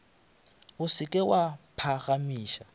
o se ke wa phagamiša